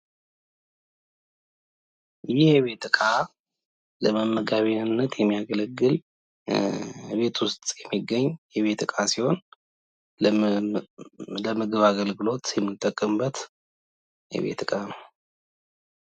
ይህ የቤት እቃ ለመመገቢያነት የሚያገለግል እቤት ውስጥ የሚገኝ የቤት እቃ ሲሆን ለምግብ አገልግሎት የምንጠቀምበት የቤት እቃ ነው።